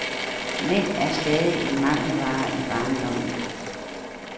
Mænd er stadig en mangelvare i barndommen.